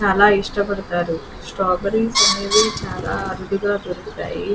చాలా ఇష్టపడుతారు. స్ట్రాబెర్రీస్ అనేవి చాలా అరుదుగా దొరుకుతాయి.